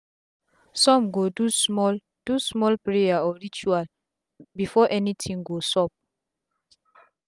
sum go do small do small prayer or ritual before any tin go sup